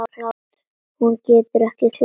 Hún getur ekki klárað.